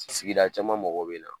Sigida caman mɔgɔw bɛ na